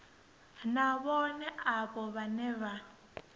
na vhohe avho vhane vha